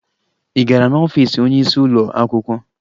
Ị gara n'ọfiisi onyeisi ụlọ akwụkwọ?